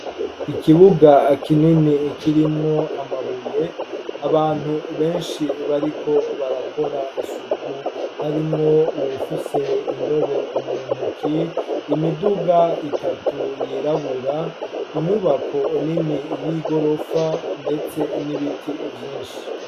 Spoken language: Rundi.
Ikibuga kinini kirimwo amabuye ,abantu benshi bariko barakora isuku harimwo uwufise indobo mu ntoke, imiduga itatu yirabura, inyubako nini y'igorofa ndetse n'ibiti vyinshi.